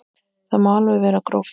Það má alveg vera gróft.